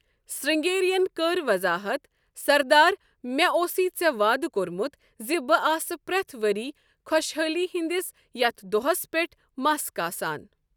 سِرٛنٛگیری ین کٔر وضاحت، 'سردار، مےٚ اوسُے ژےٚ وعدٕ کوٚرمُت زِ بہٕ آسہٕ پرٛٮ۪تھ ؤری خۄشحٲلی ہِنٛدِس یَتھ دۄہس پٮ۪ٹھ مَس کاسان۔